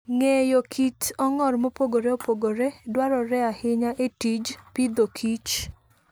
Ng'eyo kit ong'or mopogore opogore dwarore ahinya e tij pidhoKich.